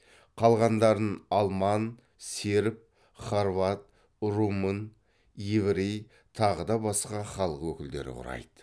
қалғандарын алман серб хорват румын еврей тағы да басқа халық өкілдері құрайды